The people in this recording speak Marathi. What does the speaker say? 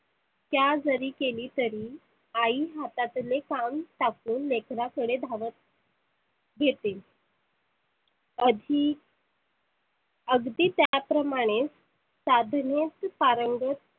त्या जरी कली तरी आई हातातले काम टाकुन लेकराकडे धावत येते अगदी अगदी त्याप्रमाने साधनेत पारंगत